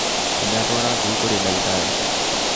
Nĩndatwara ngui kũrĩ ndagĩtarĩ